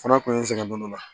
Fana kun ye n sɛgɛn don dɔ la